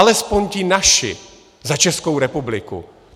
Alespoň ti naši za Českou republiku.